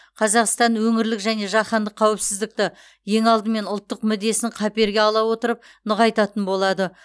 қазақстан өңірлік және жаһандық қауіпсіздікті ең алдымен ұлттық мүддесін қаперге ала отырып нығайтатын болады